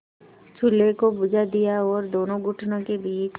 चूल्हे को बुझा दिया और दोनों घुटनों के बीच